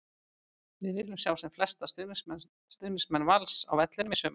Við viljum sjá sem flesta stuðningsmenn Vals á vellinum í sumar!